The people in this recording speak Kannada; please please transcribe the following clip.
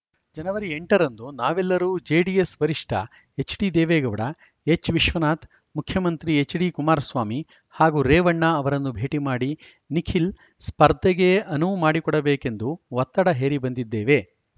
ಜನವರಿ ಎಂಟ ರಂದು ನಾವೆಲ್ಲರೂ ಜೆಡಿಎಸ್‌ ವರಿಷ್ಠ ಎಚ್‌ಡಿದೇವೇಗೌಡ ಎಚ್‌ವಿಶ್ವನಾಥ್‌ ಮುಖ್ಯಮಂತ್ರಿ ಎಚ್‌ಡಿ ಕುಮಾರಸ್ವಾಮಿ ಹಾಗೂ ರೇವಣ್ಣ ಅವರನ್ನು ಭೇಟಿ ಮಾಡಿ ನಿಖಿಲ್ ಸ್ಪರ್ಧೆಗೆ ಅನುವು ಮಾಡಿಕೊಡಬೇಕೆಂದು ಒತ್ತಡ ಹೇರಿ ಬಂದಿದ್ದೇವೆ